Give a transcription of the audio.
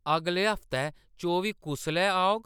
अगले हफ्तै चौबी कुसलै औग